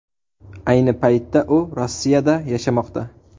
Ayni paytda u Rossiyada yashamoqda.